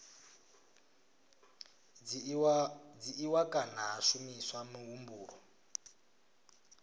dzhiiwa kana ha shumiswa muhumbulo